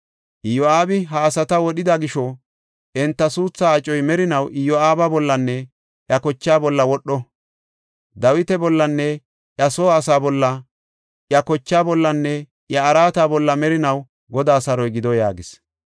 Iyo7aabi ha asata wodhida gisho, enta suuthaa acoy merinaw Iyo7aaba bollanne iya kochaa bolla wodho. Dawita bollanne iya soo asaa bolla, iya kochaa bollanne iya araata bolla merinaw Godaa saroy gido” yaagis.